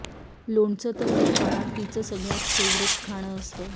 लोणचं तर या काळात तिचं सगळ्यात फेव्हरेट खाणं असतं